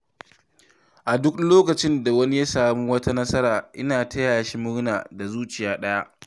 A duk lokacin da wani ya samu wata nasara, ina tayashi murna da zuciya ɗaya.